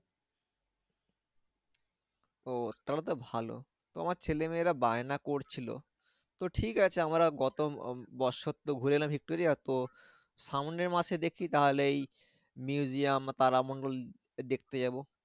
ও তাহলে তো ভালো। তো আমার ছেলে মেয়েরা বায়না করছিলো তো ঠিক আছে আমরা গত উম বছর তো ঘুরে এলাম ভিক্টোরিয়া তো সামনের মাসে দেখছি তাহলে এই museum বা তারামণ্ডল দেখতে যাবো।